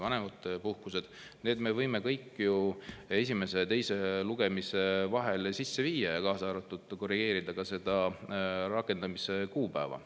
Need me võime kõik ju esimese ja teise lugemise vahel sisse viia, kaasa arvatud selle, et korrigeerida rakendamise kuupäeva.